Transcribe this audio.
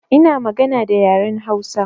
Ina magana da yaren Hausa